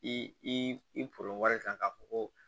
I kan ka fɔ ko